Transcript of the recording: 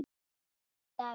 Elsku Davíð.